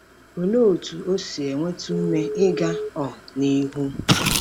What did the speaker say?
Olee otú o si enweta ume ịga um nihu?